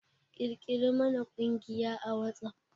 Ƙirƙiri mana ƙungiya a WhatsApp!